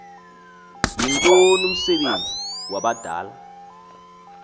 yintoni umsebenzi wabadala